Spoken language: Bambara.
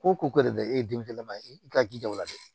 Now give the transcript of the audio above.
Ko ko de bɛ e den yɛlɛma i ka jija o la dɛ